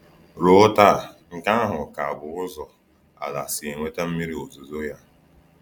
Ruo taa, nke ahụ ka bụ ụzọ ala si enweta mmiri ozuzo ya.